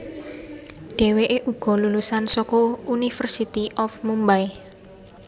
Dheweké uga lulusan saka University of Mumbay